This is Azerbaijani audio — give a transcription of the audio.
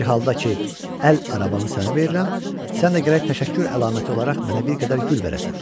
Bir halda ki əl arabamı sənə verirəm, sən də gərək təşəkkür əlaməti olaraq mənə bir qədər gül verəsən.